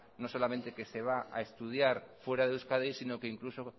no solamente que se va a estudiar fuera de euskadi sino que incluso